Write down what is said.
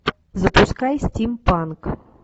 запускай стимпанк